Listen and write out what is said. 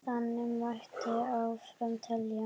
Þannig mætti áfram telja.